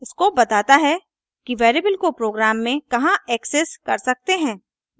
scope बताता है कि वेरिएबल को प्रोग्राम में कहाँ एक्सेस कर सकते हैं